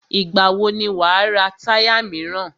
Ìgbà wò ni wà á ra táyà míràn?